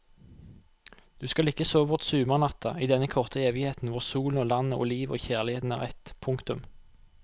Du skal ikke sove bort sumarnatta i denne korte evigheten hvor solen og landet og livet og kjærligheten er ett. punktum